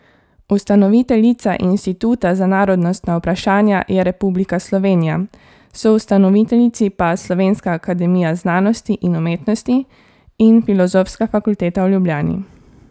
Ustanoviteljica Inštituta za narodnostna vprašanja je republika Slovenija, soustanoviteljici pa Slovenska akademija znanosti in umetnosti in Filozofska fakulteta v Ljubljani.